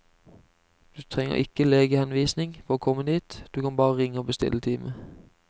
Du trenger ikke legehenvisning for å komme dit, du kan bare ringe og bestille time.